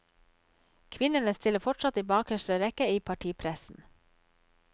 Kvinnene stiller fortsatt i bakerste rekke i partipressen.